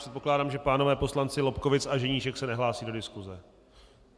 Předpokládám, že páni poslanci Lobkowicz a Ženíšek se nehlásí do diskuse?